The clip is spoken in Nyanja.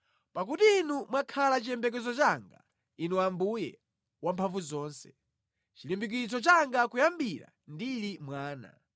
Pakuti Inu mwakhala chiyembekezo changa, Inu Ambuye Wamphamvuzonse, chilimbikitso changa kuyambira ndili mwana.